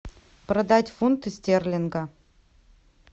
продать фунты стерлинга